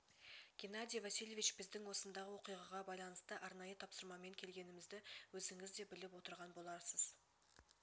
геннадий васильевич біздің осындағы оқиғаға байланысты арнайы тапсырмамен келгенмізді өзіңіз де біліп отырған боларсыз